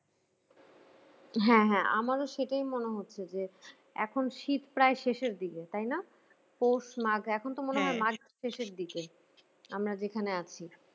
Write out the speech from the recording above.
হ্যাঁ হ্যাঁ আমারও সেটাই মনে হচ্ছে যে এখন শীত প্রায় শেষের দিকে তাই না? পৌষ-মাগ এখন তো মনে হয় মাঘ শেষের দিকে, আমরা যেখানে আছি